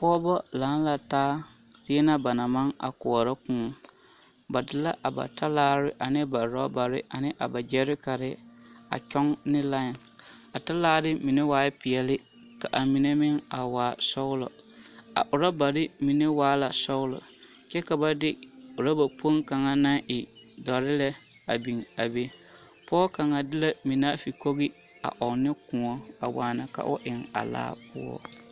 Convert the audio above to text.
Pɔgeba laŋ la taa zie na ba naŋ maŋ a koɔrɔ kõɔ, ba de la a ba talaare ane ba rɔbare ane ba gyɛrekare a kyɔŋ ne lãɛ, a talaare mine waɛ peɛle ka a mine meŋ a waa sɔgelɔ, a orɔbare mine waa sɔgelɔ kyɛ ka ba de oraba kpoŋ kaŋa naŋ e dɔre lɛ a biŋ a be, pɔge kaŋa de la minaafigi kogi a eŋ ne kõɔ a waa ka o eŋ a laa poɔ.